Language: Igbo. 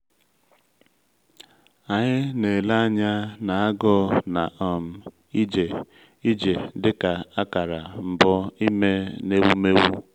anyị na-ele anya n’agụụ na um ije ije dịka akara mbụ ime n’ewumewụ.